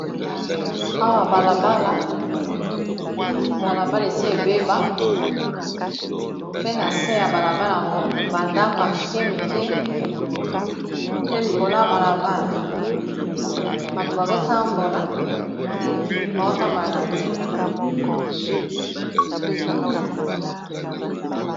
Awa balabala balabala esi ebeba pe na se ya balabala yango bandako ya mikemike, pe likolo ya balabala bato bazotambola baotambola na nzela.